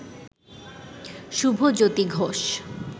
Shubhajyoti Ghosh